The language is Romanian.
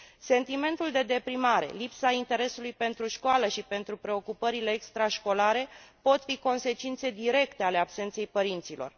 Sentimentul de deprimare, lipsa interesului pentru școală și pentru preocupările extrașcolare pot fi consecințe directe ale absenței părinților.